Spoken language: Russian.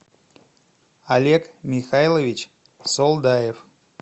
олег михайлович солдаев